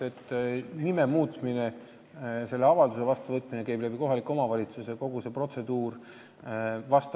Nime muutmise avalduse vastuvõtmine käib kohaliku omavalitsuse kaudu ja kogu see protseduur on pikem.